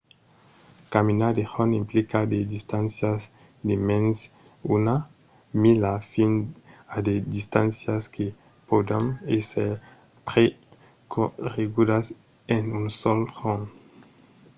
caminar de jorn implica de distàncias de mens d'una mila fins a de distàncias que pòdon èsser percorregudas en un sol jorn